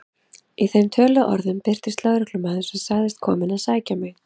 Í þeim töluðu orðum birtist lögreglumaður sem sagðist kominn að sækja mig.